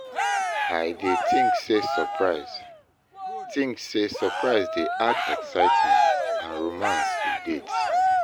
i dey think say surprise think say surprise dey add excitement and romance to dates.